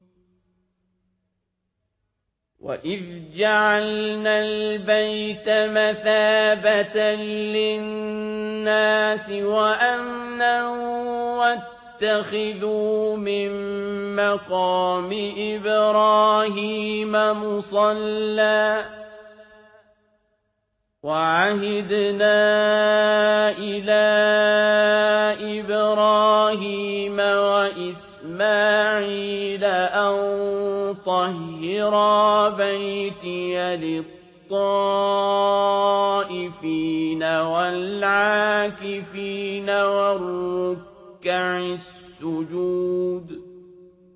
وَإِذْ جَعَلْنَا الْبَيْتَ مَثَابَةً لِّلنَّاسِ وَأَمْنًا وَاتَّخِذُوا مِن مَّقَامِ إِبْرَاهِيمَ مُصَلًّى ۖ وَعَهِدْنَا إِلَىٰ إِبْرَاهِيمَ وَإِسْمَاعِيلَ أَن طَهِّرَا بَيْتِيَ لِلطَّائِفِينَ وَالْعَاكِفِينَ وَالرُّكَّعِ السُّجُودِ